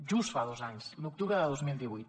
just fa dos anys l’octubre de dos mil divuit